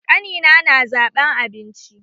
Ƙani na na zaɓan abincin